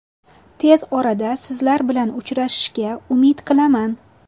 Tez orada sizlar bilan uchrashishga umid qilaman.